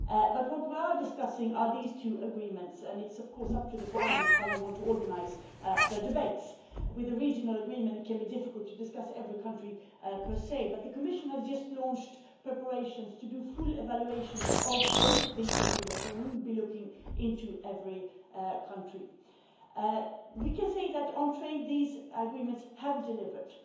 But what we are discussing are these two Agreements and it's of course up to the Parliament how you want to organise the debates. With a regional agreement it can be difficult to discuss every country per se, but the Commission has just launched preparations to do full evaluations of both these Agreements and we will be looking into every country. We can say that on trade these Agreements have delivered,